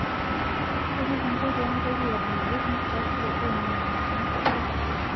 Kaji kingo pee mitoki aaponari enkitasuro oo moyiaritin